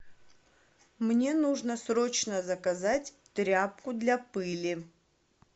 мне нужно срочно заказать тряпку для пыли